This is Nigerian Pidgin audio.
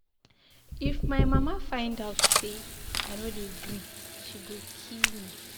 If my mama find out say I no dey greet she go kill me